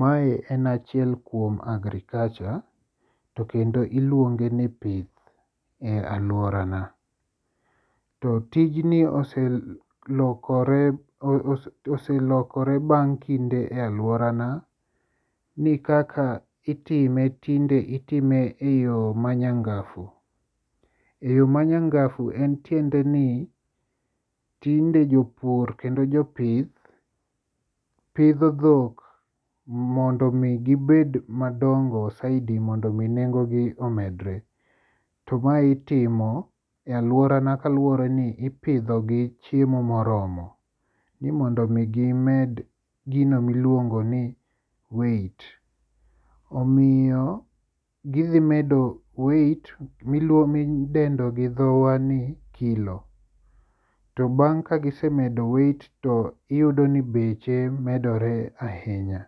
Mae en achiel kuom agriculture, to kendo iluonge ni pith e alworana. To tijni oselokore bang' kinde e alworana ni kaka itime tinde itime e yo ma nyangafu, e yo ma nyangafu en tiende ni, tinde jopur kendo jopith pidho dhok mondo omi gibed madongo saidi mondo mi nengogi omedre, to mae itimo e alworana kaluwore ni ipidhogi chiemo moromo ni mondo mi gimed gino miluongo ni weight. Omiyo gidhi medo weight midendo gi dhowa ni kilo to bang' kagisemedo weight to iyudo ni beche medore ahinya,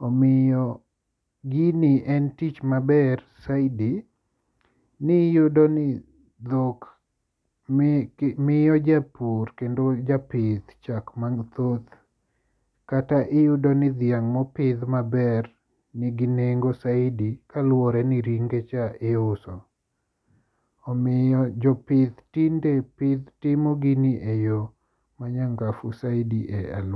omiyo gini en tich maber saidi ni iyudo ni dhok miyo japur kendo japith chak mathoth kata iyudo ni dhiang' mopidh maber nigio nengo saidi kaluwore ni ringe cha iuso omiyo jopith tinde timo gini e yo ma nyangafu saidi e alorawa.